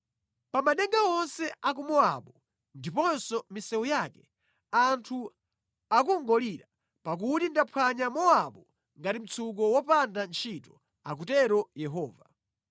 Pa madenga onse a ku Mowabu ndiponso mʼmisewu yake anthu akungolira, pakuti ndaphwanya Mowabu ngati mtsuko wopanda ntchito,” akutero Yehova.